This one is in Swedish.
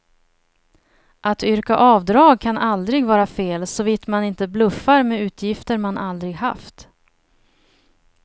Att yrka avdrag kan aldrig vara fel, såvitt man inte bluffar med utgifter man aldrig haft.